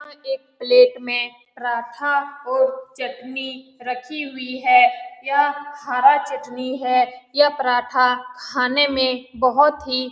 यहाँ एक प्लेट में पराठा और चटनी रखी हुई है यह हरा चटनी है यह पराठा खाने में बहुत ही --